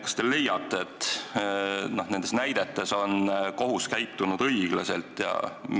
Kas te leiate, et nendes näidetes on kohus käitunud õiglaselt?